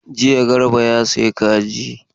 Jiya Garba ya sayi kaji.